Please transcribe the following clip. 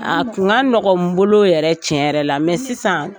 A kun ka nɔgɔ n bolo yɛrɛ tiɲɛ yɛrɛ la sisan